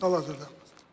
Hal-hazırda.